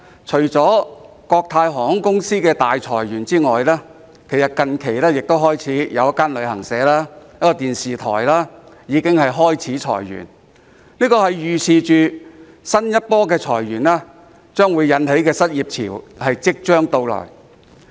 除了國泰航空公司大裁員外，最近一間旅行社及一間電視台亦開始裁員，可見新一波裁員引起的失業潮即將到來。